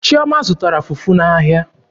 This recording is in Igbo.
Chioma zụtara fufu n'ahịa.